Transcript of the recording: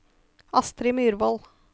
Astrid Myrvold